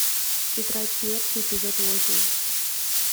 тетрадь смерти эпизод восемь